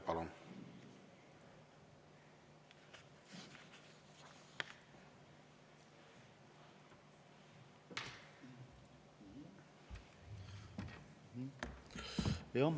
Palun!